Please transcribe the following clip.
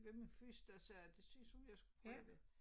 Ved min fys der sagde at det synes hun jeg skal prøve det